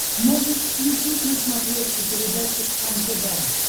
можешь включить на смотрешке передачу кхлм тв